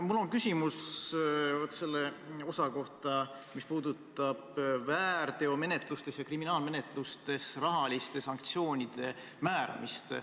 Mul on küsimus selle osa kohta, mis puudutab väärteomenetlustes ja kriminaalmenetlustes rahaliste sanktsioonide määramist.